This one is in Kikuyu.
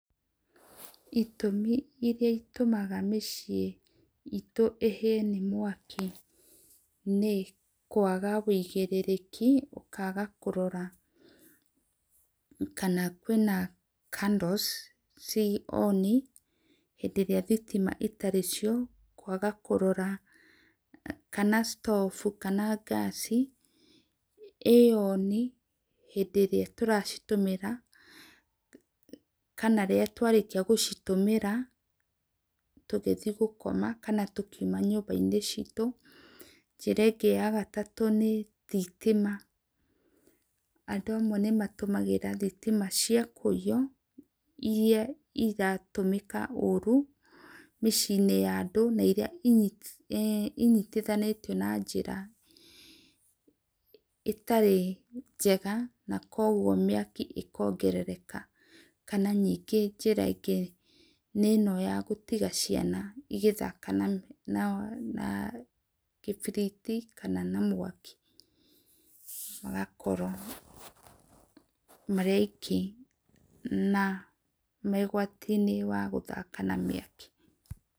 Itũmi iria itũmaga mĩciĩ ĩtũ ĩhĩe nĩ mwakĩ nĩ kũaga ũigĩrĩrĩke ũkaga kũrora kana kwĩna candles ci on hĩndĩ ĩrĩa thĩtĩma ĩtarĩcio, kũaga kũrora stove kana gas ĩ on hĩndĩ ĩrĩa tũracitũmĩra kana rĩrĩa twarĩkĩa gũcitũmĩra tũgĩthĩe gũkoma kana tũkĩũma nyũmba inĩ citũ, njĩra ĩngĩ ya gatatũ nĩ thĩtĩma andũ amwe nĩmatũmagĩra thitima cia kũĩyo ĩrĩa ĩratũmĩka ũrũ mĩciĩ inĩ ya andũ na ĩrĩa ĩnyĩtĩthanĩtĩo na njĩra ĩtarĩ njega na kwogwo mĩakĩ ĩkaogererka na njĩra ĩngĩ na ĩno ya gũtĩga ciana ĩgathaka na kĩbĩrĩti kana mwaki magakoro marĩ aĩkĩ na me ũgwati inĩ wa gũthaka na mĩakĩ.